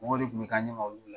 Mɔgɔ de tun bɛ k'an ɲɛma olu la